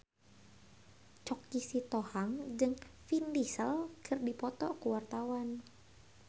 Choky Sitohang jeung Vin Diesel keur dipoto ku wartawan